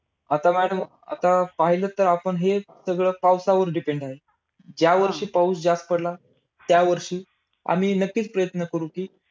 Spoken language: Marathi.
आता madam आता अं पाहिलंत तर आपण हे सगळं पावसावर depend आहे. ज्या वर्षी पाऊस जास्त पडला, त्या वर्षी आम्ही नक्कीच प्रयत्न करू कि,